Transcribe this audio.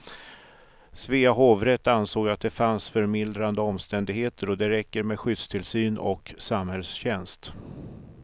Svea hovrätt ansåg att det fanns förmildrande omständigheter och att det räcker med skyddstillsyn och samhällstjänst.